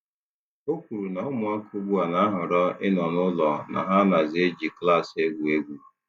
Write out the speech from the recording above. O kwuru na ụmụaka ugbu a na-ahọrọ ịnọ n'ụlọ na ha nazị eji klaasị egwu egwu.